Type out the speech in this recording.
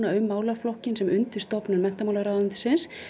um málaflokkinn sem undirstofnun menntamálaráðuneytisins